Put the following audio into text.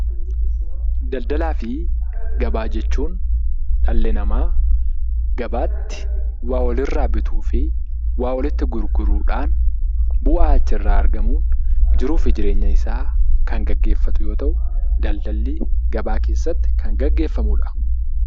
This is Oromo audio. Daldalaa fi gabaa jechuun dhalli namaa gabaatti waa wal'irraa bituu fi waa walitti gurguruudhaan bu'aa achirraaa argamuun jiruu fi jireenya isaa kan geggeeffatu yoo ta'u, daldalli gabaa keessatti kan geggeeffamuu dha.